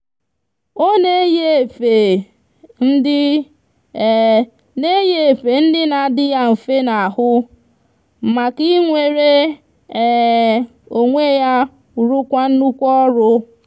o n'eyi efe ndi n'eyi efe ndi n'adi ya nfe n'ahu maka inwere onwe ya rukwa nnukwu oru